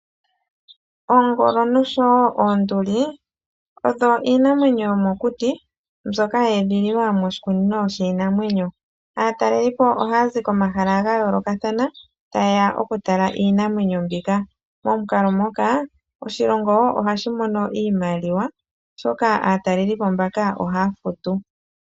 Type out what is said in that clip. Oongolo noshowo oonduli oyo iinamwenyo yomokuti mbyoka ye edhililwa moshikunino shiinamwenyo. Aatalelipo ohaya zi komahala ga yoolokathana taye ya oku tala iinamwenyo mbika. Momukalo ngoka oshilongo wo ohashi mono iimaliwa oshoka aatalelipo mbaka ohaya futu.